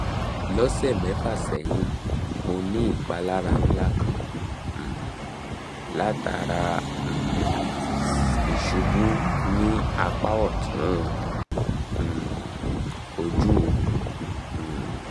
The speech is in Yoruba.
lọsẹ mefa sẹhin mo ni ipalara nla kan um latara um isubu ni apa ọtun um oju mi